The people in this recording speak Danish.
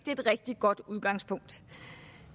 er et rigtig godt udgangspunkt